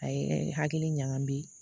A ye hakili ɲagami.